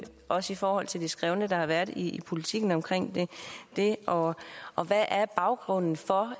også i forhold til det skrevne der har været i politiken omkring det og og hvad er baggrunden for